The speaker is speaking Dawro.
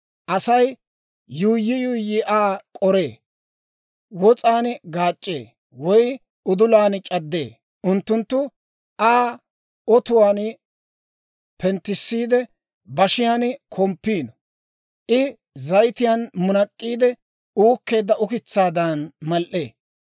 Asay yuuyyi yuuyyi Aa k'oree; wos'aan gaac'c'ee, woy udulan c'addee; unttunttu Aa otuwaan penttissiide, bashiyan komppiino. I zayitiyaan munak'k'iide uukkeedda ukitsaadan mal"ee.